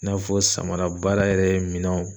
I n'a fɔ samara baara yɛrɛ minɛnw